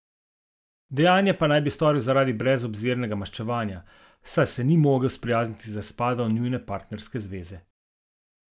Dejanje pa naj bi storil zaradi brezobzirnega maščevanja, saj se ni mogel sprijazniti z razpadom njune partnerske zveze.